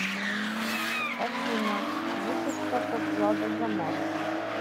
афина выписка по вкладу за март